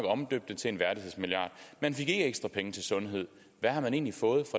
omdøbt det til en værdighedsmilliard man fik ikke ekstra penge til sundhed hvad har man egentlig fået